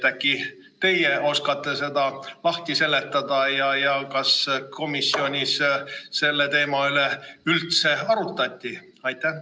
Äkki teie oskate seda lahti seletada ja kas komisjonis selle teema üle üldse arutati?